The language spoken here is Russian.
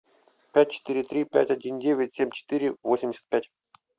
пять четыре три пять один девять семь четыре восемьдесят пять